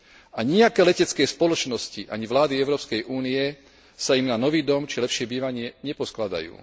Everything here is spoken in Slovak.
A nijaké letecké spoločnosti ani vlády Európskej únie sa im na nový dom či lepšie bývanie neposkladajú.